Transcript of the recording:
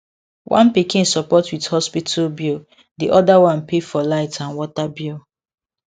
one pikin support with hospital bill di other one pay for light and water bill